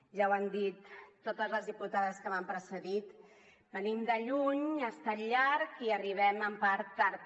ja ho han dit totes les diputades que m’han precedit venim de lluny ha estat llarg i arribem en part tard